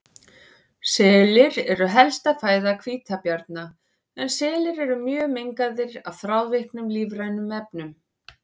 Selir eru helsta fæða hvítabjarna en selir eru mjög mengaðir af þrávirkum lífrænum efnum.